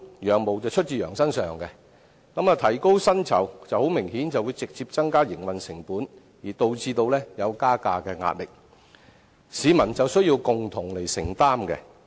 "羊毛出自羊身上"，提高薪酬明顯會直接增加營運成本，導致加價的壓力，最終也需要由市民共同承擔。